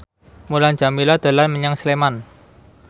Mulan Jameela dolan menyang Sleman